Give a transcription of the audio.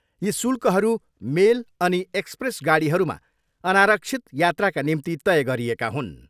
यी शुल्कहरू मेल अनि एक्सप्रेस गाडीहरूमा अनारक्षित यात्राका निम्ति तय गरिएका हुन्।